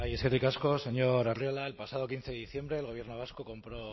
eskerrik asko señor arriola el pasado quince de diciembre el gobierno vasco compró